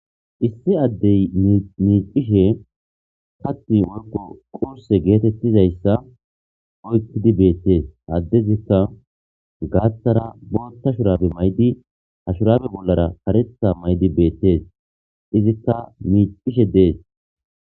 issi addey miicishe hatti woykko qurse geetettizayssa oykkidi beettees addezikka gaaththara bootta shuraabe maydi ha shuraabe bollara karetha maydi beettees izikka miicishe dees